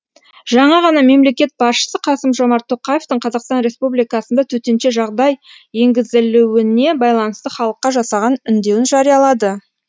жаңа ғана мемлекет басшысы қасым жомарт тоқаевтың қазақстан республикасында төтенше жағдай енгізілуіне байланысты халыққа жасаған үндеуін жариялады